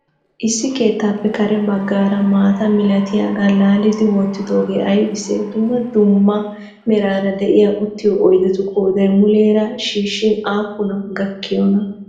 Issi keettappe karee baggara maataa milatiyagaa laallidi wotidogee aybisse? Duummaa duummaa meraara de'iya uttiyo oydettu qooday muleeraa shishshin appunaa gakkiyonaa?